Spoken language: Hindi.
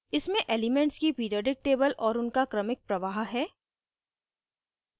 इसमें elements की periodic table और उनका क्रमिक प्रवाह है